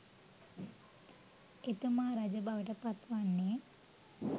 එතුමා රජබවට පත් වන්නේ